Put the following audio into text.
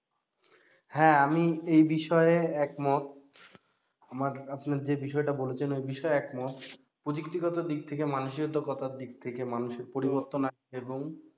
হ্যা আমি এই বিষয়ে একমত আমার আপনার যে বিষয় টা বলেছেন ওই বিষয়ে একমত প্রযুক্তিগত দিক থেকে মানসিকতার দিক থেকে মানুষের পরিবর্তন আনতে হবে এবং